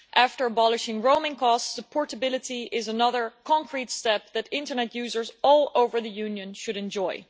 After abolishing roaming costs, supportability is another concrete step that internet users all over the Union should enjoy.